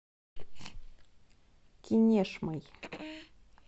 кинешмой